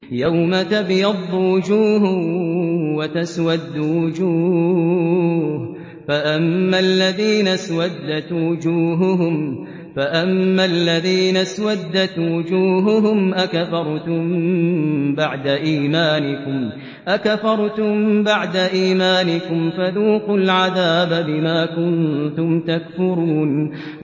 يَوْمَ تَبْيَضُّ وُجُوهٌ وَتَسْوَدُّ وُجُوهٌ ۚ فَأَمَّا الَّذِينَ اسْوَدَّتْ وُجُوهُهُمْ أَكَفَرْتُم بَعْدَ إِيمَانِكُمْ فَذُوقُوا الْعَذَابَ بِمَا كُنتُمْ تَكْفُرُونَ